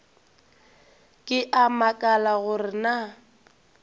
ke a makala gore na